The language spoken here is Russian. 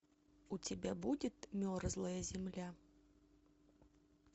у тебя будет мерзлая земля